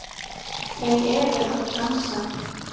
Þau eru að dansa